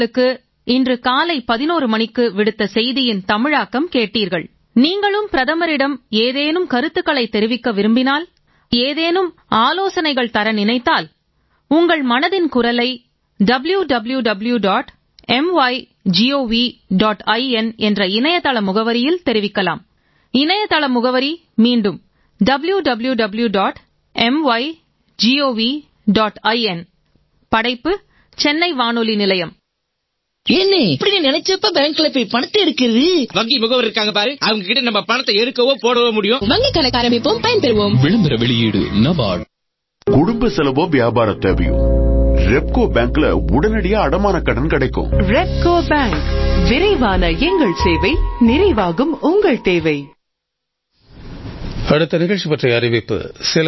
மிக்க நன்றி